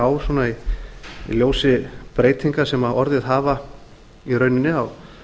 á í ljósi breytinga sem orðið hafa í rauninni á